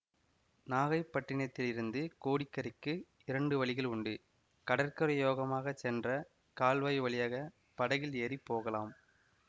நாகைப்பட்டினத்திலிருந்து கோடி கரைக்கு இரண்டு வழிகள் உண்டு கடற்கரையோரமாகச் சென்ற கால்வாய் வழியாக படகில் ஏறி போகலாம்